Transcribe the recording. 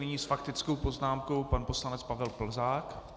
Nyní s faktickou poznámkou pan poslanec Pavel Plzák.